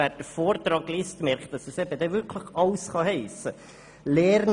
Wer den Vortrag liest, merkt, dass es eben wirklich alles heissen kann.